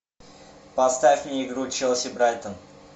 поставь мне игру челси брайтон